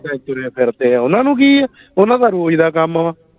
ਇਦਾ ਹੀ ਤੁਰੇ ਫਿਰਦੇ ਓਹਨਾ ਨੂੰ ਕਿ ਆ ਓਹਦਾ ਦਾ ਤੇ ਰੋਜ਼ ਦਾ ਕੰਮ ਵਾ